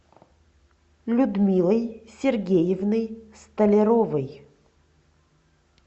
людмилой сергеевной столяровой